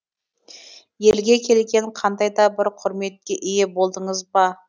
елге келгелі қандайда бір құрметке ие болдыңыз ба